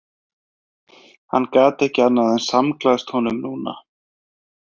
Hann gat ekki annað en samglaðst honum núna.